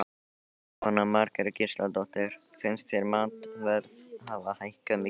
Jóhanna Margrét Gísladóttir: Finnst þér matarverð hafa hækkað mikið?